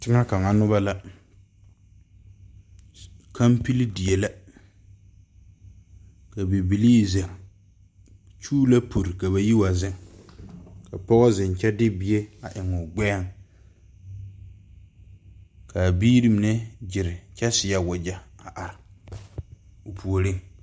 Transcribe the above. Teŋa kaŋa noba la, kaŋpili die la ka bibile zeŋ nyuu la pure ka ba yi wa zeŋ ka pɔge zeŋ kyɛ de bie eŋ a gbeɛɛ kaa biiri mine gyere kyɛ saɛ wagye a are o puori.